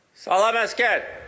Salam əsgər!